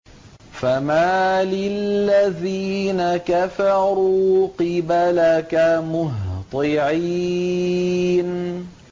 فَمَالِ الَّذِينَ كَفَرُوا قِبَلَكَ مُهْطِعِينَ